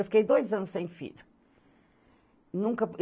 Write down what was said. Eu fiquei dois anos sem filho. Nunca